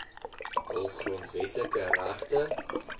hul grondwetlike regte